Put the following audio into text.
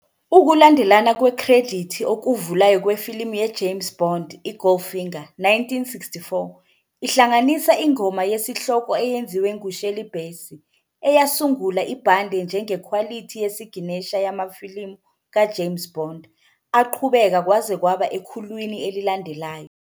Ukulandelana kwekhredithi okuvulayo kwefilimu ye-James Bond i-Goldfinger, 1964, ihlanganisa ingoma yesihloko eyenziwe ngu-Shirley Bassey, eyasungula ibhande njengekhwalithi yesiginesha yamafilimu ka-James Bond aqhubeka kwaze kwaba ekhulwini elilandelayo.